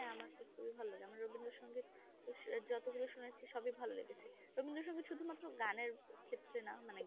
হ্যাঁ আমার তো খুবই ভালো লাগে আমার রবীন্দ্র সংগীত যত গুলা সোনা হয়েছে সবই ভালো লেগেছে রবীন্দ্র সংগীত শুধু মাত্র গানের ক্ষেত্রে না মানে গানটাই না কেমন শুনতে শোনালো সেই বিষয় টায় না মানে